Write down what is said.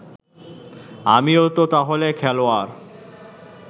আমিও তো তাহলে খেলোয়াড়